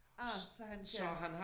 Ah så han kan